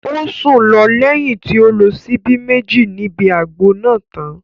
Ó sùn lọ lẹ́yìn tí ó lo síbí Méjì níbi àgbo náà tán